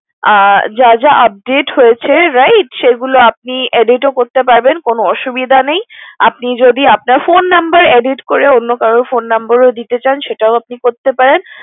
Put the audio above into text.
আ যা যা update হয়েছে right সেগুলো আপনি edit ও করতে পারবেন কোনো অসুবিধা নেই আপনি যদি আপনার Phone Number edit করে অন্য কারও phone number দিতে চান সেটাও আপনি করতে পারেন